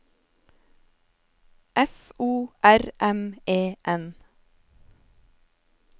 F O R M E N